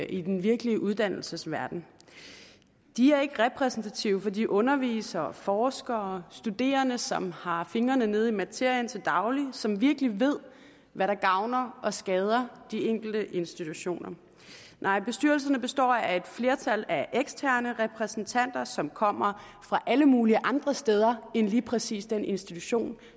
i den virkelige uddannelsesverden de er ikke repræsentative for de undervisere og forskere og for studerende som har fingrene nede i materien til daglig og som virkelig ved hvad der gavner og skader de enkelte institutioner nej bestyrelserne består af et flertal af eksterne repræsentanter som kommer fra alle mulige andre steder end lige præcis den institution